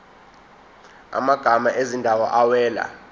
amagama ezindawo awela